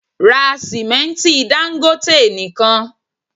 Ra sìmẹ́ntí Dangote nìkan!